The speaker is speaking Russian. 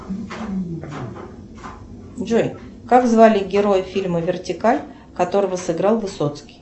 джой как звали героя фильма вертикаль которого сыграл высоцкий